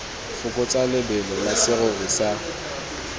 fokotsa lebelo la serori sa